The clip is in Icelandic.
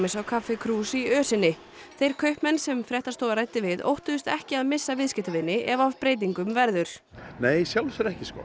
á kaffi krús í ösinni þeir kaupmenn sem fréttastofa ræddi við óttuðust ekki að missa viðskiptavini ef af breytingum verður nei í sjálfu sér ekki sko